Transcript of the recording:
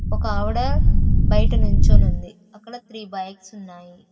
ఒక ఆవిడ బయట నించోని ఉంది అక్కడ థ్రి బైక్స్ ఉన్నాయి.